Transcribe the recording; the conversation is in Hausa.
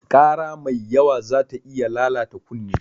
Ƙara mai yawa zata iya lalata kunne.